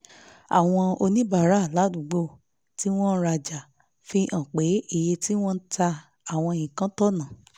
àwọn oníbàárà ládùúgbò tí wọ́n ń rajà fi hàn pé iye tí wọ́n ń ta àwọn nǹkan tọ̀nà